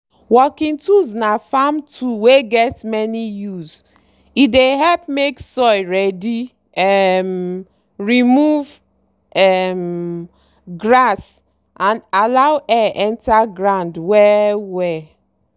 working tools na farm tool wey get many use—e dey help make soil ready um remove um grass and allow air enter ground well-well.